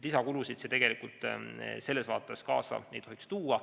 Lisakulusid see tegelikult kaasa ei tohiks tuua.